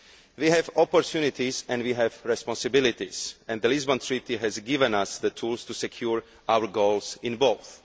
We have opportunities and we have responsibilities, and the Lisbon Treaty has given us the tools to secure our goals in both.